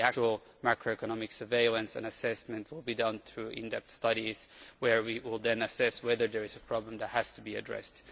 The actual macroeconomic surveillance and assessment will be done through in depth studies, where we will then assess whether there is a problem that has to be addressed.